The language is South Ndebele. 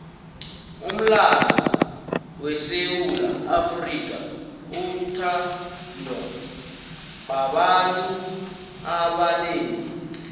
umlando wesewula afrika uthandwa babantu abanengi